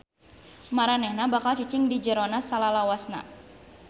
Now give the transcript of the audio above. Maranehna bakal cicing di jerona salalawasna.